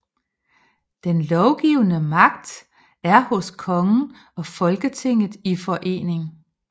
Den lovgivende magt er hos kongen og Folketinget i forening